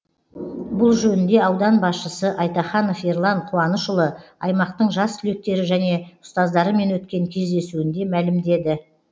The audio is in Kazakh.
бұл жөнінде аудан басшысы айтаханов ерлан қуанышұлы аймақтың жас түлектері және ұстаздарымен өткен кездесуінде мәлімдеді